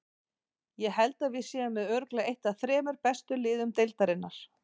Ég held að við séum með örugglega eitt af þremur bestu liðum deildarinnar.